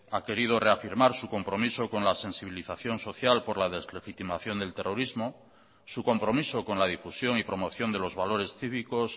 ha querido reafirmar su compromiso con la sensibilización social por la deslegitimación del terrorismo su compromiso con la difusión y promoción de los valores cívicos